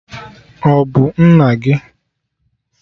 Ọ bụ nna gị?